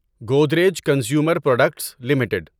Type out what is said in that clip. Godrej consumer products limited